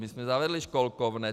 My jsme zavedli školkovné.